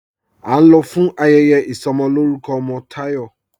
́A ń lọ̀ fún ayẹyẹ isọmọlọ̀rùkọ̀ ọmọ Tayọ́.